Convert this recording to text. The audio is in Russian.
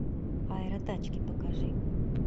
аэротачки покажи